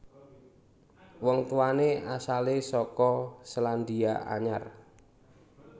Wong tuwané asalé saka Sélandia Anyar